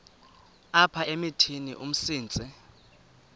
apha emithini umsintsi